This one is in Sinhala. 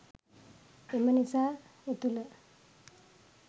එම නිසා එතුළ